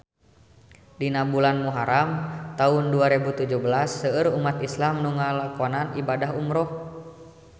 Dina bulan Muharam taun dua rebu tujuh belas seueur umat islam nu ngalakonan ibadah umrah